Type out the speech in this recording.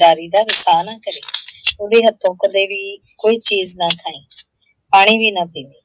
ਲਾਰੀ ਦਾ ਵਸਾਹ ਨਾ ਕਰੀਂ । ਉਹਦੇ ਹੱਥੋਂ ਕਦੇ ਵੀ ਕੋਈ ਚੀਜ਼ ਨਾ ਖਾਈਂ, ਪਾਣੀ ਵੀ ਨਾ ਪੀਵੀਂ,